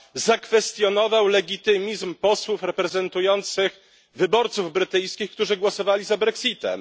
zakwestionował legitymizm posłów reprezentujących wyborców brytyjskich, którzy głosowali za brexitem.